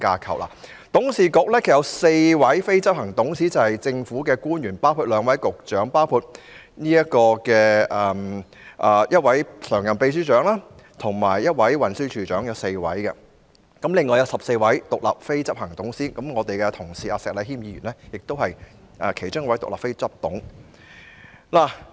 港鐵公司的董事局有4位非執行董事，包括政府官員，即兩位局長，一位常任秘書長及運輸署署長，合共4人，另外還有14位獨立非執行董事，而我們的同事石禮謙議員是其中一位。